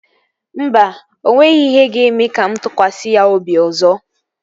Mba, o nweghị ihe ga-eme ka mụ tụkwasị ya obi ọzọ